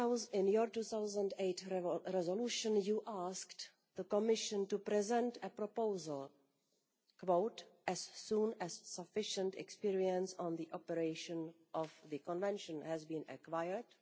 In your 2008 resolution you asked the Commission to present a proposal as soon as sufficient experience on the operation of the Convention has been acquired'.